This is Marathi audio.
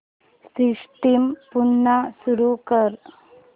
सिस्टम पुन्हा सुरू कर